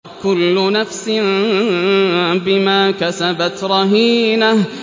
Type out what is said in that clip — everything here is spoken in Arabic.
كُلُّ نَفْسٍ بِمَا كَسَبَتْ رَهِينَةٌ